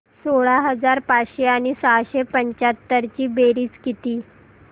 सोळा हजार पाचशे आणि सहाशे पंच्याहत्तर ची बेरीज किती